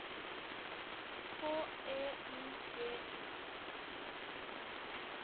H E I D I